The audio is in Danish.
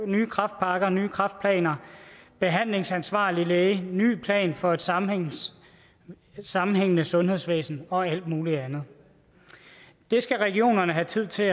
nye kræftpakker nye kræftplaner behandlingsansvarlige læger en ny plan for et sammenhængende sammenhængende sundhedsvæsen og alt mulig andet det skal regionerne have tid til